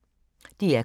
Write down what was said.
DR K